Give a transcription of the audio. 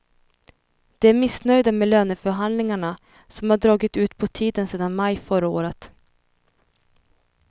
De är missnöjda med löneförhandlingarna, som har dragit ut på tiden sedan maj förra året.